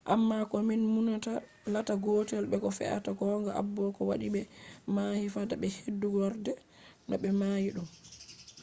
amma ko min numata latta gotel be ko fe’ata gong abo? ko waɗi ɓe mahi fada be fuɗɗorde? no ɓe mahi ɗum?